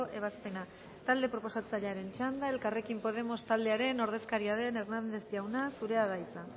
ebazpena talde proposatzailearen txanda elkarrekin podemos taldearen ordezkaria den hernández jauna zurea da hitza